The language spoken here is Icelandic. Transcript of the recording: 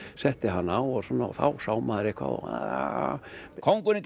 setti hana á og þá sá maður eitthvað